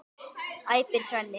æpir Svenni.